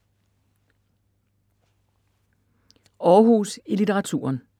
Århus i litteraturen